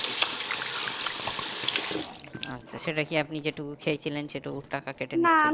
সেটা কি আপনি যে টুকু খেয়েছিলেন সেটুকুর টাকা